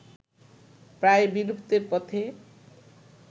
প্রায় বিলুপ্তির পথে